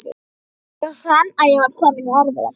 Ég fann að ég var kominn í erfiða klípu.